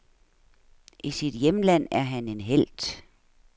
I sit hjemland er han en helt.